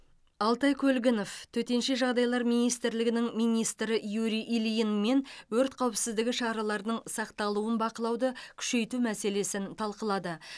алтай көлгінов төтенше жағдайлар министрлігінің министрі юрий ильинмен өрт қауіпсіздігі шараларының сақталуын бақылауды күшейту мәселесін талқылады